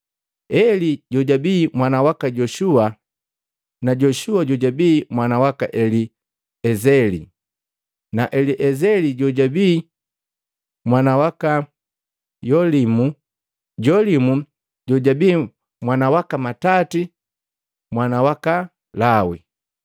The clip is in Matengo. Eli jojabi mwana waka Yoshua, Yoshua jojabii mwana waka Eliezeli, Eliezeli jojabii mwana waka Yolimu, Jolimu jojabii mwana waka Matati mwana waka Lawi,